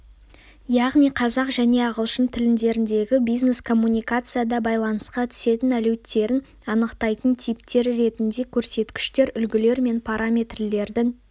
яғни қазақ және ағылшын тілдеріндегі бизнес-коммуникацияда байланысқа түсетін әлеуеттерін анықтайтын типтер ретінде көрсеткіштер үлгілер мен параметрлердің